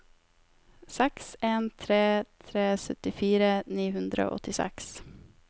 seks en tre tre syttifire ni hundre og åttiseks